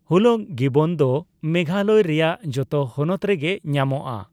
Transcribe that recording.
ᱦᱩᱞᱚᱜ ᱜᱤᱵᱚᱱ ᱫᱚ ᱢᱮᱜᱷᱟ ᱞᱚᱭ ᱨᱮᱭᱟᱜ ᱡᱚᱛᱚ ᱦᱚᱱᱚᱛ ᱨᱮᱜᱮ ᱧᱟᱢᱚᱜᱼᱟ ᱾